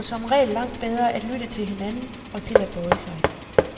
De bliver som regel langt bedre at lytte til hinanden og til at bøje sig.